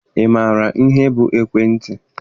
Ị maara ihe bụ ekwentị?